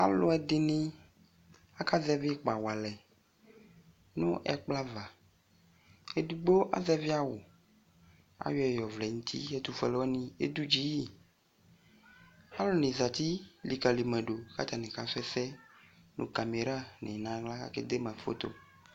Alʋɛdɩnɩ akazɛvɩ ɩkpa walɛ nʋ ɛkplɔava, edigbo azɛvɩ awʋ, kayɔɛ yɔvlɛ n'uti : etʋfuenɩwanɩ edudziyɩ Alʋnɩ zati likǝli madʋ katanɩ kasʋɛsɛ , nʋ kameranɩ n'aɣla akedema foto